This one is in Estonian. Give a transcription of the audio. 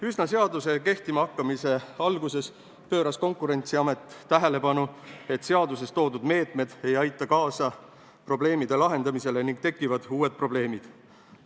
Üsna seaduse kehtimahakkamise alguses pööras Konkurentsiamet tähelepanu sellele, et seaduses nimetatud meetmed ei aita kaasa probleemide lahendamisele ning tekivad uued probleemid.